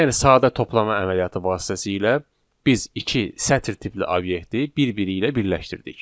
Yəni sadə toplama əməliyyatı vasitəsilə biz iki sətr tipli obyekti bir-biri ilə birləşdirdik.